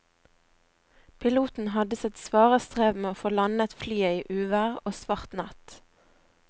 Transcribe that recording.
Piloten hadde sitt svare strev med å få landet flyet i uvær og svart natt.